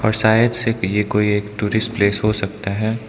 और शायद से ये कोई एक टूरिस्ट प्लेस हो सकता है।